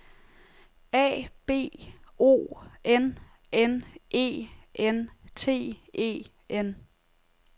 A B O N N E N T E N